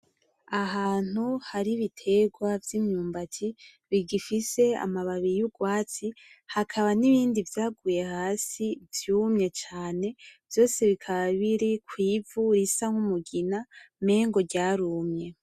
Ahantu hari ibiterwa vy'imyumbati bigifise amababi y'urwatsi hakaba n'ibindi vyaguye hasi vyumye cane vyose bikaba biri kw'ivu risa nk'umugina mengo ryarumye.